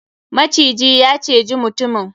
Maciji ya cije mutumin.